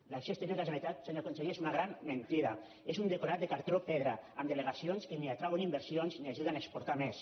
l’acció exterior de la generalitat senyor conseller és una gran mentida és un decorat de cartró pedra amb delegacions que ni atrauen inversions ni ajuden a exportar més